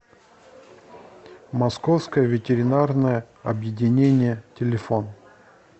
московское ветеринарное объединение телефон